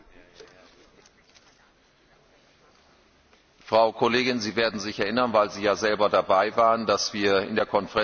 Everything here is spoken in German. Frau Kollegin, Sie werden sich erinnern, weil Sie ja selber dabei waren, dass wir in der Konferenz der Präsidenten darüber beraten haben.